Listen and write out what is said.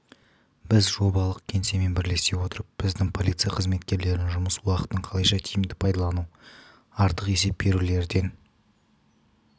біз жобалық кеңсемен бірлесе отырып біздің полиция қызметкерлерінің жұмыс уақытын қалайша тиімді пайдалану артық есеп берулерден